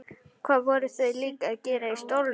Hvað voru þau líka að gera í stólnum?